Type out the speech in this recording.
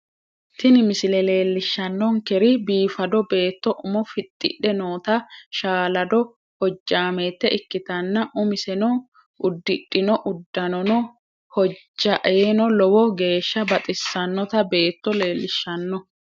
Tini misile leellishahannonkeri biifado beetto umo fixxidhe noota shaalado hojjaameete ikkitanna umiseno uddidhino uddanono hojjaaeno lowo geeshsha baxissannota beetto leellishahanno.